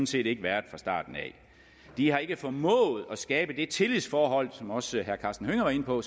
set ikke været fra starten af de har ikke formået at skabe det tillidsforhold til som også herre karsten hønge var inde på